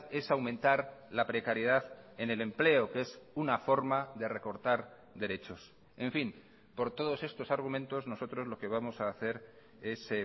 es aumentar la precariedad en el empleo que es una forma de recortar derechos en fin por todos estos argumentos nosotros lo que vamos a hacer es